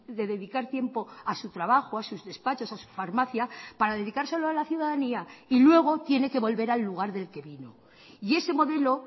de dedicar tiempo a su trabajo a sus despachos a su farmacia para dedicárselo a la ciudadanía y luego tiene que volver al lugar del que vino y ese modelo